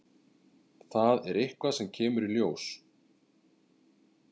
Það er eitthvað sem kemur í ljós.